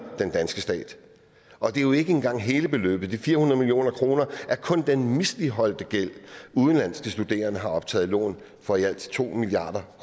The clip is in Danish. den danske stat og det er jo ikke engang hele beløbet de fire hundrede million kroner er kun den misligholdte gæld udenlandske studerende har optaget lån for i alt to milliard